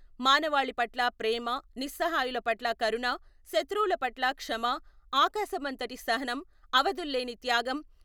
మానవాళి పట్ల ప్రేమ, నిస్సహాయుల పట్ల కరుణ, శత్రువుల పట్ల క్షమ, ఆకాశమంతటి సహనం, అవధుల్లేని త్యాగం...